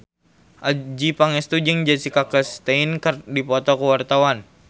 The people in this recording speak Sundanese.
Adjie Pangestu jeung Jessica Chastain keur dipoto ku wartawan